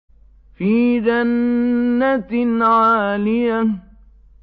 فِي جَنَّةٍ عَالِيَةٍ